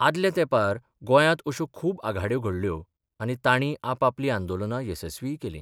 आदल्या तेंपार गोंयांत अश्यो खूब आघाड्यो घडल्यो आनी तांणी आपापलीं आंदोलनां येसस्वीय केलीं.